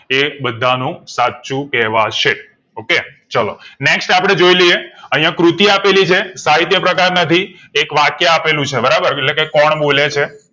એ બધા નું સાચું કહેવાશે okay ચાલો next આપડે જોઈ લયે અહીંયા કૃતિ આપેવલી છે સહિતયપ્રકાર નથી એક વાક્ય આપેલું છે એટલે કે કોણ બોલે છે